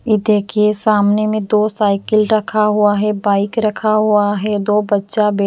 ये देखिए सामने में दो साइकिल रखा हुआ है बाइक रखा हुआ है दो बच्चा--